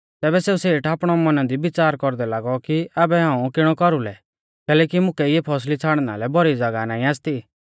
तैबै सेऊ सेठ आपणै मौना दी विच़ार कौरदै लागौ कि आबै हाऊं किणौ कौरुलौ कैलैकि मुकै इऐं फौसली छ़ाड़ना लै भौरी ज़ागाह नाईं आसती